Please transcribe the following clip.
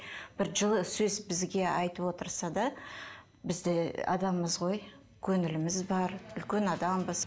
бір жылы сөз бізге айтып отырса да біз де адамбыз ғой көңіліміз бар үлкен адамбыз